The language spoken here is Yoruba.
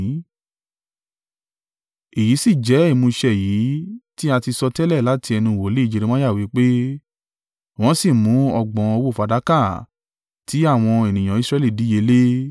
Èyí sì jẹ́ ìmúṣẹ èyí tí a ti sọtẹ́lẹ̀ láti ẹnu wòlíì Jeremiah wí pé, “Wọ́n sì mú ọgbọ̀n owó fàdákà tí àwọn ènìyàn Israẹli díye lé e.